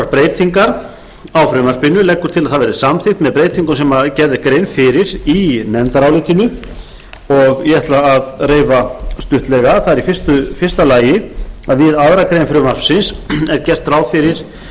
breytingar á frumvarpinu leggur til að það verði samþykkt með breytingum sem gerð er grein fyrir í nefndarálitinu og ég ætla að reifa stuttlega fyrstu við aðra